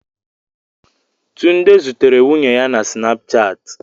Tunde zutere nwunye ya na Snapchat